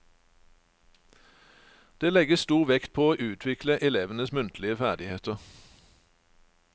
Det legges stor vekt på å utvikle elevenes muntlige ferdigheter.